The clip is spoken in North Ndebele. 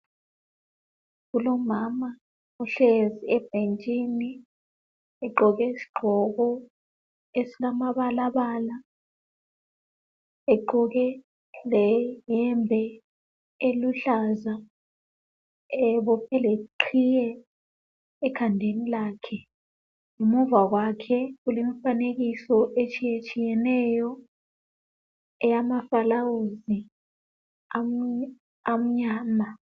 kulomama ohlezi ebhentshini egqoke isigqoko esilamabalabala egqoke le yembe eluhlaza ebophe le qhiye ekhandeni lakhe ngemuva kwakhe kulemifanekiso etshiyeneyo eyama fulawuzi amnyama